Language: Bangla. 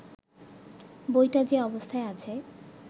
বইটা যে অবস্থায় আছে